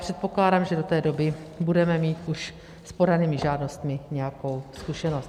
Předpokládám, že do té doby budeme mít už s podanými žádostmi nějakou zkušenost.